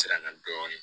Siranna dɔɔnin